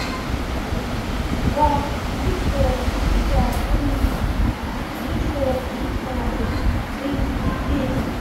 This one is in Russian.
два девятьсот пятьдесят три девятьсот девятнадцать тридцать десять